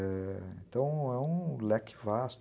Então, é um leque vasto.